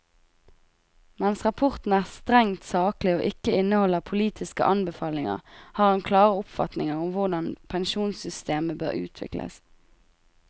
Mens rapporten er strengt saklig og ikke inneholder politiske anbefalinger, har han klare oppfatninger om hvordan pensjonssystemer bør utvikles.